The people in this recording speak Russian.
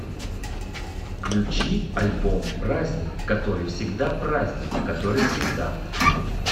включи альбом праздник который всегда праздник который всегда